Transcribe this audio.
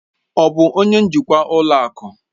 Ọ bụ onye njikwa ụlọ akụ?